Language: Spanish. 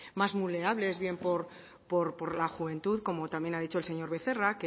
más vulnerables bien por la juventud como también ha dicho el señor becerra